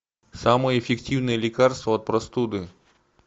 самое эффективное лекарство от простуды